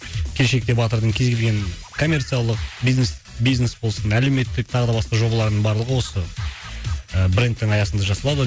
келешекте батырдың кез келген коммерциялық бизнес бизнес болсын әлеуметтік тағы да басқа жобалардың барлығы осы ы брендтің аясында жасалады